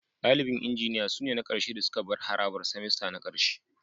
Dalibin Injiniya sune na ƙarshe da suka bar harabar semester na ƙarshe